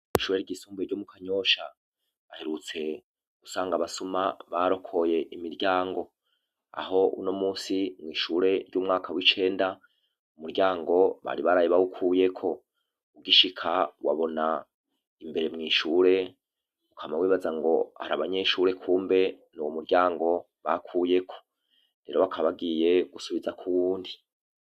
Ichure ryisumbuye ryo mu kanyosha aherutse gusanga abasuma barokoye imiryango aho uno musi mwishure ry'umwaka w'icenda u muryango bari baraye bahukuyeko ugishika wabona imbere mwishure ukama wibaza ngo hari abanyeshure kumbe n'uwo murya ango bakuyeko hero bakabagiye gusubiza kuu wundi.